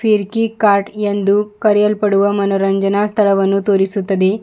Firki kart ಎಂದು ಕರಿಯಲ್ಪಡುವ ಮನೋರಂಜನ ಸ್ಥಳವನ್ನು ತೋರಿಸುತ್ತದೆ.